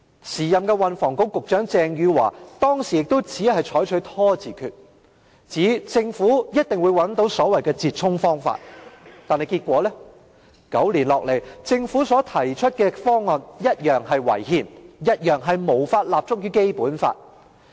時任運輸及房屋局局長鄭汝樺當時亦只採取拖字訣，指政府一定會找到所謂的折衷方法，結果是9年後，政府所提出的方案同樣是違憲而無法立足於《基本法》。